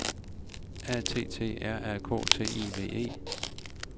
A T T R A K T I V E